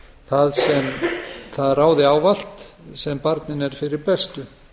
það ráði ávallt sem barninu er fyrir bestu